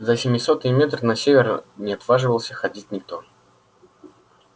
за семисотый метр на север не отваживался ходить никто